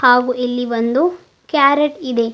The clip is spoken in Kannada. ಹಾಗು ಇಲ್ಲಿ ಒಂದು ಕ್ಯಾರಟ್ ಇದೆ.